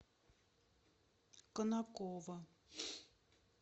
конаково